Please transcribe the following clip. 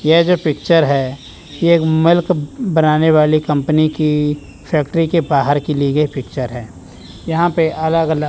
ये जो पिक्चर है ये एक मिल्क बनाने वाले कंपनी की फैक्ट्री के बाहर की ली गई पिक्चर है यहां पे अलग अलग--